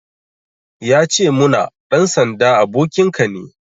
Ya ce muna,"Ɗan sanda abokinka ne"